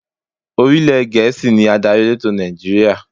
Orílè Gẹ̀ẹ́sì ni adarí elétò Nàìjíríà.